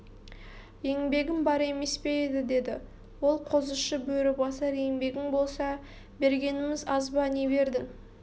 еңбегім бар емес пе еді деді ол қозышы бөрібасар еңбегің болса бергенім аз ба не бердің